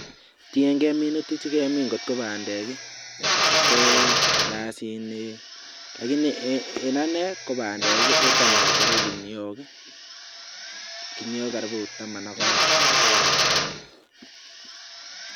Tienge minutik che gemin, ngot ko bandek ii, ngot ko piasinik. Lagini en ane ko bandek ii kotam acheru guniok karibu taman ak aeng.